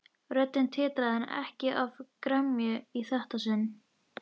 Röddin titraði en ekki af gremju í þetta sinn.